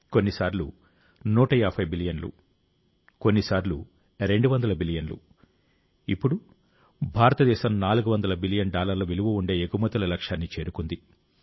కొన్నిసార్లు 150 బిలియన్లు కొన్నిసార్లు 200 బిలియన్లు ఇప్పుడు భారతదేశం 400 బిలియన్ డాలర్ల విలువ ఉండే ఎగుమతుల లక్ష్యాన్ని చేరుకుంది